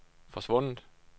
forsvundet